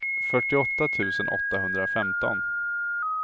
fyrtioåtta tusen åttahundrafemton